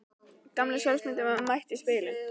Gamla sjálfsmyndin var mætt í spegilinn.